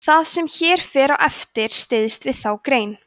það sem hér fer á eftir styðst við þá grein